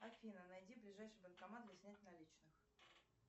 афина найди ближайший банкомат для снятия наличных